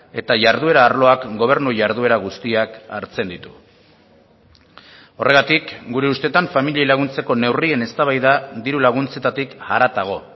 eta jarduera arloak gobernu jarduera guztiak hartzen ditu horregatik gure usteetan familiei laguntzeko neurrien eztabaida diru laguntzetatik haratago